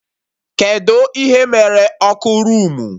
Kedụ ihe mere ọkụ roomu?